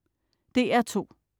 DR2: